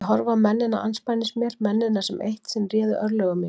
Ég horfi á mennina andspænis mér, mennina sem eitt sinn réðu örlögum mínum.